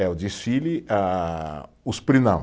É, o desfile ah, os pri, não.